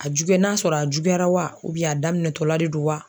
A n'a sɔrɔ a juyara wa a daminɛtɔla de don wa